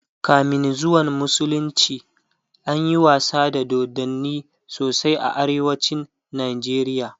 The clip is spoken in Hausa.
kamin zuwan musulunci anyi wasa da dodanni sosai a arewacin Nigeria